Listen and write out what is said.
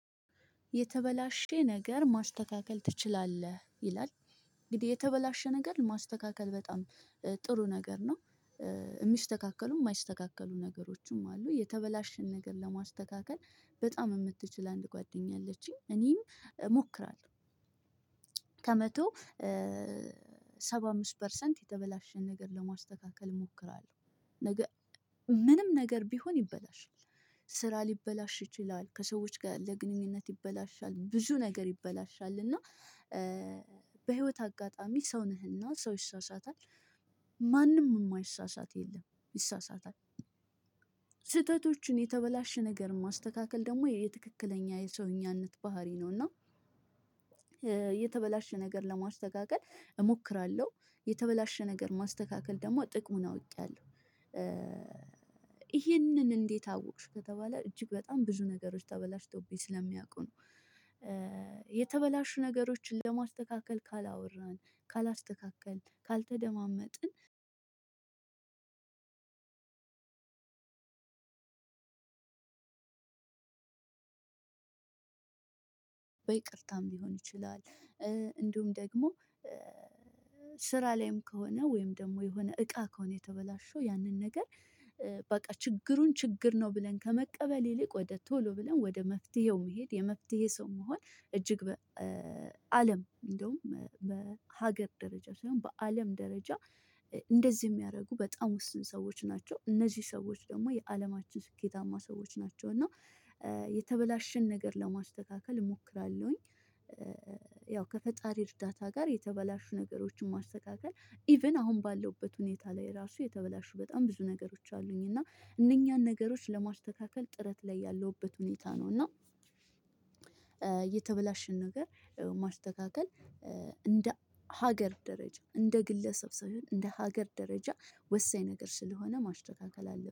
የተበላሸ ነገር ማስተካከል ትችላለህ? ይላል እንግዲህ የተበላሸ ነገር ማስተካከል በጣም ጥሩ ነገር ነው። የሚስተካከሉም የማይስተካከሉ ነገሮችም አሉ። የተበላሸን ነገር ለማስተካከል በጣም የምትችል አንድ ጓደኛ አለችኝ እኔም እሞክራለሁ። ከመቶ ሰባ አምስት ፐርሰንት የተበላሸን ነገር ለማስተካከል እሞክራለሁ። ምንም ነገር ቢሆን ይበላሻል። ስራ ሊበላሽ ይችላል ከሰዎች ጋር ያለ ግንኙነት ይበላሻል ብዙ ነገር ይበላሻል። እና በህይወት አጋጣሚ ሰው ነህና ሰው ይሳሳታል። ማንም የማይሳሳት የለም ይሳሳታል። ስህተቶችን የተበላሸ ነገር ማስተካከል ደግሞ የትክክለኛ የሰውኛነት ባህሪ ነው። እና የተበላሸ ነገር ለማስተካከል እሞክራለሁ። የተበላሸ ነገር ማስተካከል ደግሞ ጥቅሙን አውቄያለሁ። ይህንን እንዴት አውቅሽ ከተባለ እጅግ በጣም ብዙ ነገሮች ተበላሽቶብኝ ስለሚያውቁ ነው። የተበላሹ ነገሮችን ለማስተካከል ካላወራን ካላስተካከልን ካልተደማመጥን። በይቅርታም ሊሆን ይችላል። እንዲሁም ደግሞ ስራ ላይም ከሆነ ወይም ደግሞ የሆነ እቃ ከሆነ የተበላሸው ያንን ነገር። በቃ ችግሩን ችግር ነው ብለን ከመቀበል ይልቅ ወደ ቶሎ ብለን ወደ መፍትሄው መሄድ የመፍትሔ ሰው መሆን። እጅግ አለም እንደሁም በሀገር ደረጃ ሳይሆን በአለም ደረጃ እንደዚህ የሚያደርጉ በጣም ውስን ሰዎች ናቸው። እነዚህ ሰዎች የአለማችን ስኬታማ ሰዎች ናቸው። እና የተበላሸን ነገር ለማስተካከል እሞክራለሁኝ። ያው ከፈጣሪ እርዳታ ጋር የተበላሹ ነገሮችን ማስተካከል ኢቭን አሁን ባለሁበት ሁኔታ ላይ እራሱ የተበላሹ በጣም ብዙ ነገሮች አሉኝ። እና እነኚን ነገሮች ለማስተካከል ጥረት ላይ ያለሁበት ሁኔታ ነው። እና የተበላሸን ነገር ማስተካከል እንደ ሀገር ደረጃ እንደ ግለሰብ ሳይሆን እንደ ሀገር ደረጃ ወሳኝ ነገር ስለሆነ ማስተካከል አለብን